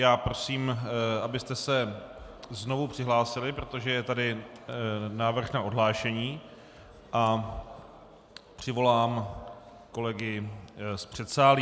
Já prosím, abyste se znovu přihlásili, protože je tady návrh na odhlášení, a přivolám kolegy z předsálí.